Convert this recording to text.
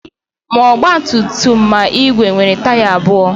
Ma ọgba tum tum ma igwe nwere taya abụọ.